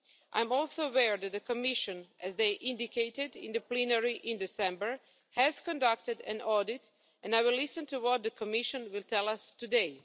I'm also aware that the Commission, as they indicated in the plenary in December, has conducted an audit, and I will listen to what the Commission will tell us today.